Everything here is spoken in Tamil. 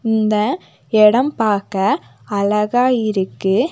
இந்த எடம் பாக்க அழகா இருக்கு.